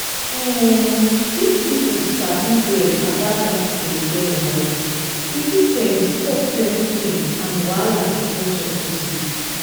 um if people sabi well about that belly wahala e fit um stop plenty pain and wahala wey no suppose dey.